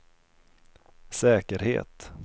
säkerhet